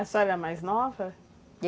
A senhora é a mais nova?